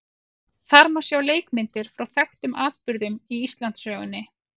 Þar má sjá leikmyndir frá þekktum atburðum í Íslandssögunni.